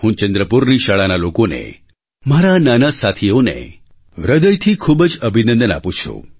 હું ચંદ્રપુરની શાળાના લોકોને મારા આ નાના સાથીઓને હૃદયથી ખૂબ જ અભિનંદન આપું છું